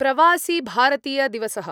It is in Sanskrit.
प्रवासिभारतीयदिवसः